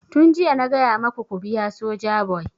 Tun jiya na gaya maku ku biya Sojaboy!